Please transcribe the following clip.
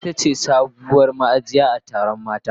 Zugwai ita ce sabuwar ma'aji a taron mata.